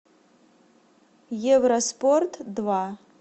евроспорт два